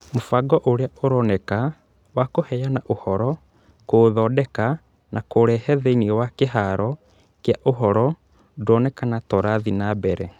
Mũbango ũrĩa ũroneka wa kũheana ũhoro, kũũthondeka na kũũrehe thĩinĩ wa kĩhaaro kĩa ũhoro ndũoneka ta ũrathiĩ na mbere